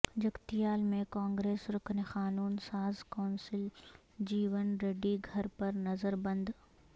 جگتیال میں کانگریس رکن قانون ساز کونسل جیون ریڈی گھر پر نظر بند